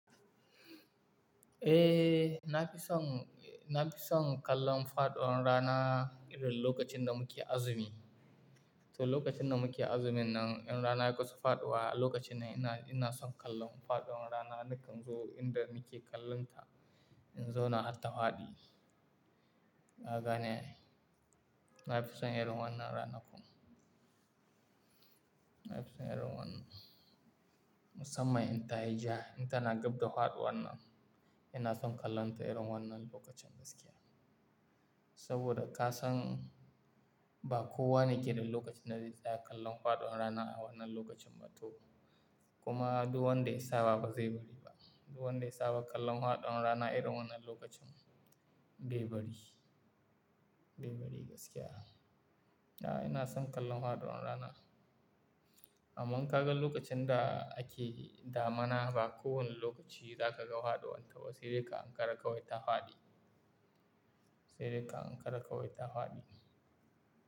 Eh, na fi son, na fi son kallon faɗon rana irin lokacin da muke azumi. To lokacin da muke azumi nan, in rana ya kusa faɗuwa, a lokacin ne ina, ina son kallon faɗon rana. Ni kam zo inda muke kallonta in zauna har tahadi. Haka ne, na fi son irin wannan rana kuma. Na fi son irin wannan. Musamman in ta yi ja, in tana gab da faɗuwa nan, ina son kallonta irin wannan lokacin gaskiya. Saboda ka san ba kowane keda lokaci na zai tsaya kallon faɗon rana a wannan lokacin ba to. Kuma duwando isawa ba zai bari ba. Duwando isawa kallon faɗon rana irin wannan lokacin bai bari, bai bari gaskiya. A'a ina son kallon faɗon rana. Amma ka ga lokacin da ake damana ba kowane lokaci za ka ga faɗon ta ba. Sai dai ka ankara kawai ta faɗi. Sai dai ka ankara kawai ta faɗi.